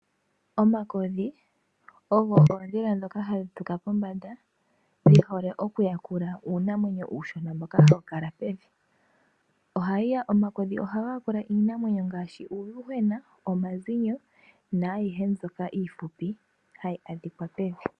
Omakodhi ogo oondhila dhoka hadhi tuka pombanda, dhihole okuyakula uunamwenyo uushona mboka hawu kala pevi. Omakodhi ohaga yakula iinamwenyo ngaashi uuyuhwena, omazinyo, naayihe mbyoka iifupi hayi adhika pevi.